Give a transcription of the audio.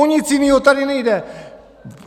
O nic jinýho tady nejde!